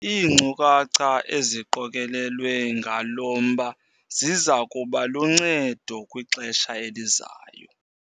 Iinkcukacha eziqokelelwe ngalo mba ziza kuba luncedo kwixesha elizayo.